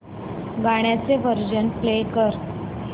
गाण्याचे version play कर